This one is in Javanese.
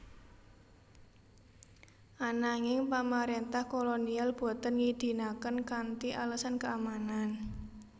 Ananging pamarentah kolonial boten ngidinaken kanthi alesan keamanan